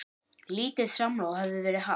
Lítið samráð hefði verið haft.